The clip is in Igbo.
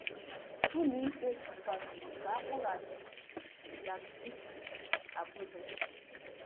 Ọlụikpe kwenyere ka a kpọghachi Zakzaky Abuja.